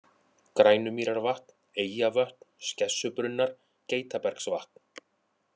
Grænumýrarvatn, Eyjavötn, Skessubrunnar, Geitabergsvatn